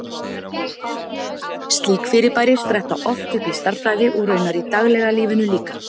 Slík fyrirbæri spretta oft upp í stærðfræði, og raunar í daglega lífinu líka.